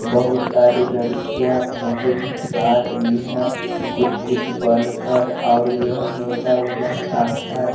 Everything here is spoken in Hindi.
बहोत सारी लड़कियां फोटो खिंचवा रही है कुछ कुछ बनकर और यह मेला का है।